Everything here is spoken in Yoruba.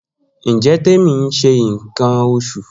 Njẹ Temi n ṣe nkan oṣu?